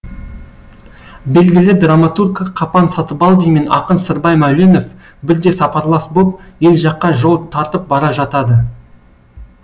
белгілі драматург қапан сатыбалдин мен ақын сырбай мәуленов бірде сапарлас боп ел жаққа жол тартып бара жатады